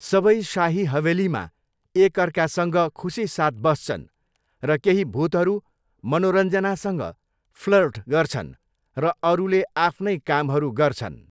सबै शाही हवेलीमा एकअर्कासँग खुसीसाथ बस्छन् र केही भूतहरू मनोरञ्जनासँग फ्लर्ट गर्छन् र अरूले आफ्नै कामहरू गर्छन्।